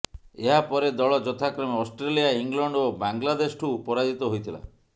ଏହାପରେଦଳ ଯଥାକ୍ରମେ Australia England ଓ ବାଂଲାଦେଶଠୁ ପରାଜିତ ହୋଇଥିଲା